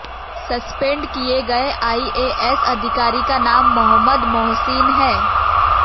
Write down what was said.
suspend किए गए IAS अधिकारी का नाम मोहम्मद मोहसिन है